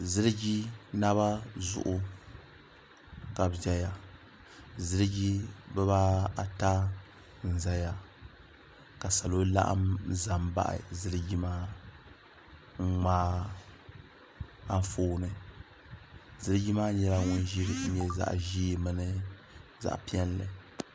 ziliji naba zuɣu ka bi ʒɛya ziliji bibaata n ʒɛya ka salo laɣam ʒɛ n baɣa ziliji maa n ŋmaari Anfooni ziliji maa nyɛla ŋun peenta nyɛ zaɣ ʒiɛ mini zaɣ piɛlli